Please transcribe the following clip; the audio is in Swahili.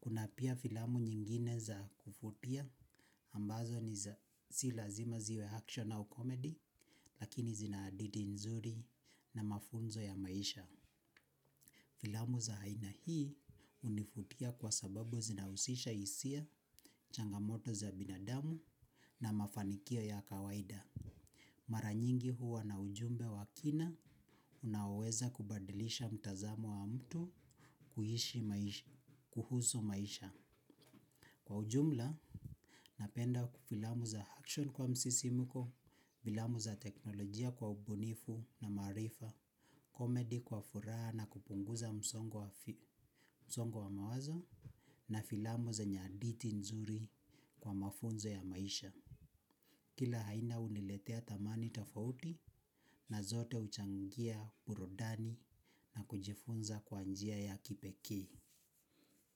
Kuna pia filamu nyingine za kuvutia ambazo ni za si lazima ziwe action au comedy lakini zina hadithi nzuri na mafunzo ya maisha. Filamu za aina hii hunivutia kwa sababu zinahusisha hisia changamoto za binadamu na mafanikio ya kawaida. Mara nyingi huwa na ujumbe wa kina, unaoweza kubadilisha mtazamo wa mtu kuhusu maisha. Kwa ujumla, napenda filamu za action kwa msisimuko, filamu za teknolojia kwa ubunifu na maarifa, comedy kwa furaha na kupunguza msongo wa mawazo, na filamu zenye hadithi nzuri kwa mafunzo ya maisha. Kila aina huniletea thamani tofauti na zote huchangia burudani na kujifunza kwa njia ya kipekee.